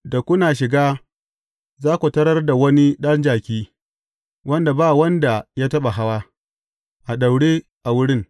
Da kuna shiga, za ku tarar da wani ɗan jaki, wadda ba wanda ya taɓa hawa, a daure a wurin.